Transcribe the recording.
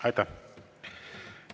Aitäh!